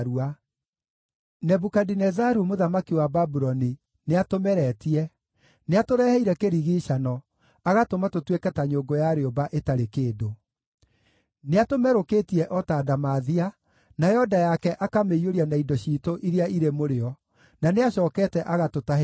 “Nebukadinezaru mũthamaki wa Babuloni nĩatũmeretie, nĩatũreheire kĩrigiicano, agatũma tũtuĩke ta nyũngũ ya rĩũmba ĩtarĩ kĩndũ. Nĩatũmerũkĩtie o ta ndamathia, nayo nda yake akamĩiyũria na indo ciitũ iria irĩ mũrĩo, na nĩacookete agatũtahĩka.